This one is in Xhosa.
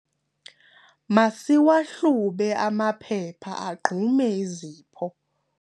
masiwahlube amaphepha agqume izipho